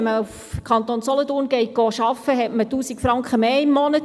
Wenn man im Kanton Solothurn arbeitet, hat man 1000 Franken mehr pro Monat.